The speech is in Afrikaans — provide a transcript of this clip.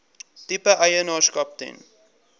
tipe eienaarskap ten